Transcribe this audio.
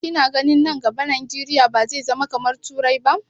Ki na ganin nan gaba Najeriya ba zai zama kamar turai ba?